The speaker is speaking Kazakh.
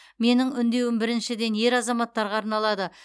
менің үндеуім біріншіден ер азаматтарға арналады